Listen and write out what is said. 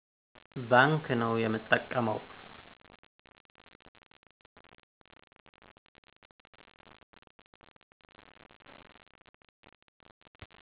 ባንክ ነዉ የምጠቀመዉ